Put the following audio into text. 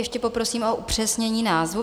Ještě poprosím o upřesnění názvu.